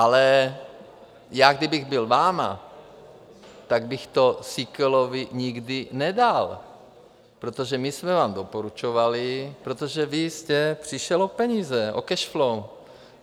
Ale já kdybych byl vámi, tak bych to Síkelovi nikdy nedal, protože my jsme vám doporučovali, protože vy jste přišel o peníze, o cash flow.